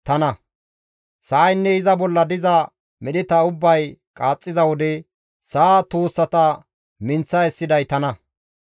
Sa7aynne iza bolla diza medheta ubbay qaaxxiza wode sa7a tuussata minththa essiday tana.